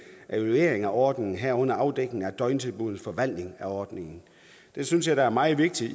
af evaluering af ordningen herunder afdækning af døgntilbuddets forvaltning af ordningen det synes jeg da er meget vigtigt